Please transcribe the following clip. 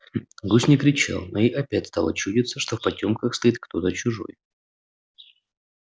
гусь не кричал но ей опять стало чудиться что в потёмках стоит кто-то чужой